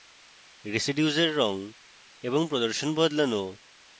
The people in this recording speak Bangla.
residues এর রঙ এবং প্রদর্শন বদলানো